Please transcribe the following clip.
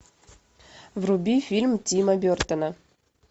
вруби фильм тима бертона